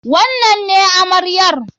Wannan ne amaryar?